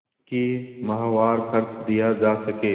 कि माहवार खर्च दिया जा सके